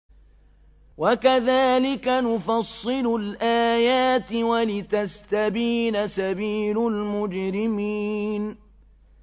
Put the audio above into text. وَكَذَٰلِكَ نُفَصِّلُ الْآيَاتِ وَلِتَسْتَبِينَ سَبِيلُ الْمُجْرِمِينَ